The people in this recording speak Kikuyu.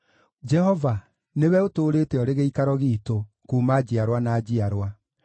JEHOVA, nĩwe ũtũũrĩte ũrĩ gĩikaro giitũ kuuma njiarwa na njiarwa.